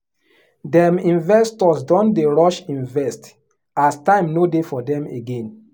dem investors don dey rush invest as time no dey for them again